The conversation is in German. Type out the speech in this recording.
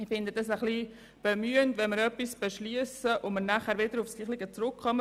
Ich finde es ein bisschen bemühend, wenn wir etwas beschliessen und anschliessend wieder darauf zurückkommen.